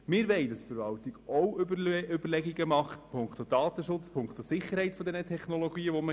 Wir wollen, dass die Verwaltung ebenfalls Überlegungen zum Thema Datenschutz und Sicherheit der benötigten Technologien anstellt.